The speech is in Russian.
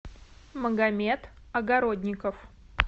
магомет огородников